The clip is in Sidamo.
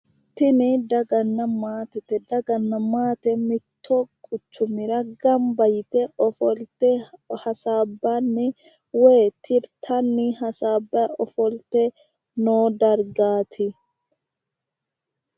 tini daganna maatete daganna maate mittu quchumira ganba yite ofolte hasaabbanni woyi tirtanni hasaabbayi ofolte noo dargaati.